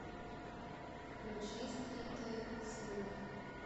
включи стритли свинг